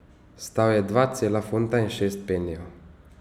Stal je dva cela funta in šest penijev!